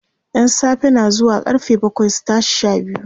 ƴan safe na zuwa karfe bakwai su tashi Sha biyu